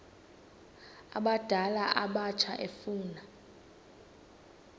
abadala abatsha efuna